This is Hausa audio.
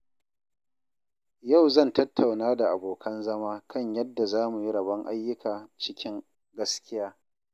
Yau zan tattauna da abokan zama kan yadda za mu yi rabon ayyuka cikin gaskiya.